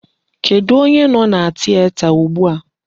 Kedụ onye nọ na tieta ugbu a?